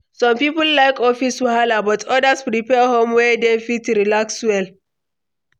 Some people like office wahala, but others prefer home where dem fit relax well.